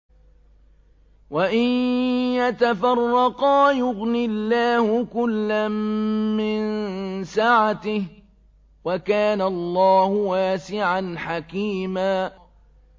وَإِن يَتَفَرَّقَا يُغْنِ اللَّهُ كُلًّا مِّن سَعَتِهِ ۚ وَكَانَ اللَّهُ وَاسِعًا حَكِيمًا